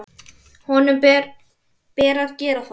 Honum ber að gera það.